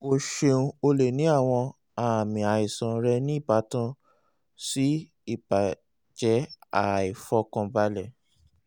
o ṣeun o le ni awọn aami aisan rẹ ni ibatan si ibajẹ aifọkanbalẹ